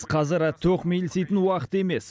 қазір тоқмейілситін уақыт емес